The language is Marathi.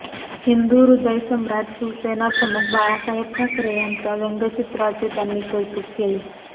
हिंदुहृदयसम्राट शिवसेनाप्रमुख बाळासाहेब ठाकरे यांच्या व्यंगचित्राचे त्यांनी कौतुक केले